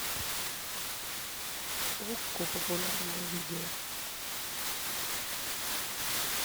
окко популярное видео